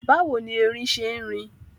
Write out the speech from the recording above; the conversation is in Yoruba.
Báwo ni erin ṣe ń rìn?